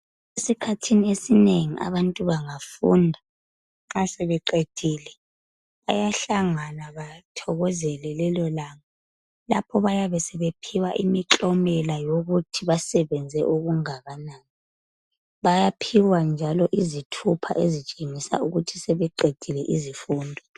Esikhathini esinengi abantu bangafunda, nxa sebeqedile bayahlangana bathokozele lelolanga. Lapho bayabe sebephiwa imiklomela yokuthi basebenze okungakanani. Bayaphiwa njalo izithupha ezitshengisa ukuthi sebeqedile izifundo.